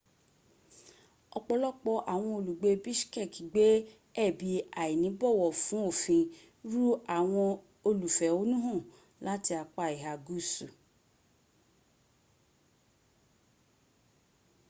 ọpọlọpọ awọn olugbe bishkek gbe ẹbin ainibowo fun ofin ru awọn olufehonuhan lati apa iha guusu